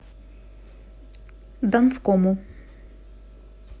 донскому